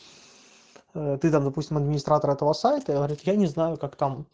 ты там допустим администратор этого сайта говорит я не знаю как